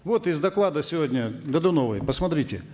вот из доклада сегодня годуновой посмотрите